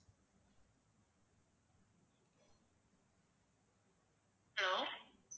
hello